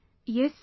Yes sir